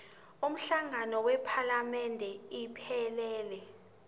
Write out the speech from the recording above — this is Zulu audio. umhlangano wephalamende iphelele